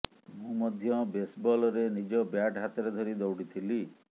ମୁଁ ମଧ୍ୟ ବେସବଲରେ ନିଜ ବ୍ୟାଟ୍ ହାତରେ ଧରି ଦୌଡ଼ିଥିଲି